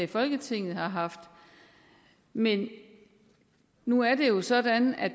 i folketinget har haft men nu er det jo sådan at